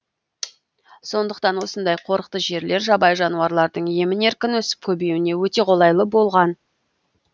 сондықтан осындай қорықты жерлер жабайы жануарлардың емін еркін өсіп көбеюіне өте қолайлы болған